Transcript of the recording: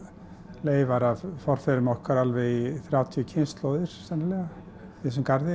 leifar af forfeðrum okkar í þrjátíu kynslóðir sennilega í þessum garði